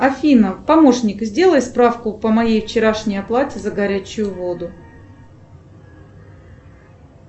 афина помощник сделай справку по моей вчерашней оплате за горячую воду